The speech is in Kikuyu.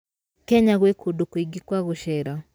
Kenya gwĩ kũndũ kũingĩ kwa gũcera.